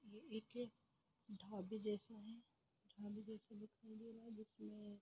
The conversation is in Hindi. यह एक ढाबे जैसा है ढाबे जैसा दिखाई दे रहा है जिसमे--